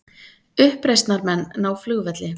Uppreisnarmenn ná flugvelli